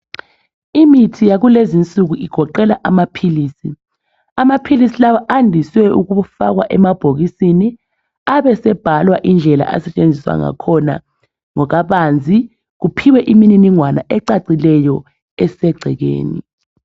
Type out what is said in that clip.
Imithi yakulezinsuku igoqela amaphilisi. Amaphilisi lawa andiswe ukufakwa emabhokisini . Abe esebhalwa indlela asetshenziswa ngakhona ngokabanzi . Kuphiwe imininingwane ecacileyo esegcekeni.